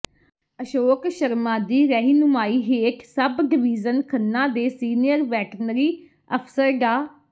ਅਸ਼ੋਕ ਸ਼ਰਮਾ ਦੀ ਰਹਿਨੁਮਾਈ ਹੇਠ ਸਬ ਡਵੀਜ਼ਨ ਖੰਨਾ ਦੇ ਸੀਨੀਅਰ ਵੈਟਨਰੀ ਅਫ਼ਸਰ ਡਾ